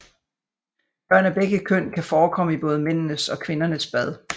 Børn af begge køn kan forekomme i både mændenes og kvindernes bad